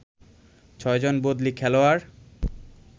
৬ জন বদলি খেলোয়াড়